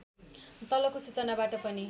तलको सूचनाबाट पनि